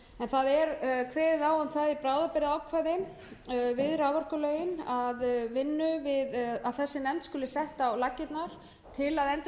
það er kveðið á um það í bráðabirgðaákvæði við raforkulögin að þessi nefnd skuli sett á laggirnar til